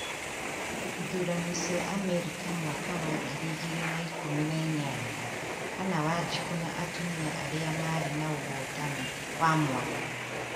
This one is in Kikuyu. ithurano cia Amerika mwaka wa ngiri igĩrĩ na ikumi na inyanya: hannah wanjiku na atumia arĩa marĩ naũhotani wa mwanya